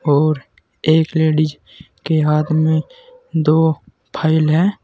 और एक लेडिज के हाथ में दो फाइल हैं।